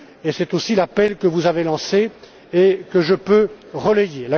C'est aussi l'appel que vous avez lancé et que je peux relayer.